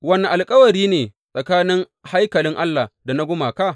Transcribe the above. Wane alkawari ne tsakanin haikalin Allah da na gumaka?